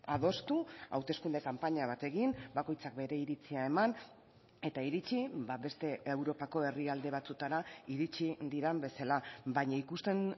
adostu hauteskunde kanpaina bat egin bakoitzak bere iritzia eman eta iritsi beste europako herrialde batzuetara iritsi diren bezala baina ikusten